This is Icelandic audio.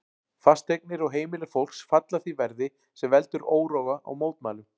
Fasteignir og heimili fólks falla því verði, sem veldur óróa og mótmælum.